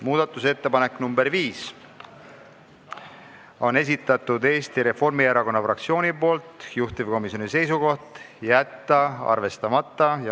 Muudatusettepanek nr 5 on Eesti Reformierakonna fraktsiooni esitatud, juhtivkomisjoni seisukoht: jätta arvestamata.